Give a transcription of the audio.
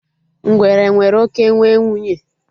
Ngwere nwere oké nwe nwunye